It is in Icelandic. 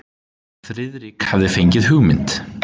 Friðrik hafði fengið hugmynd.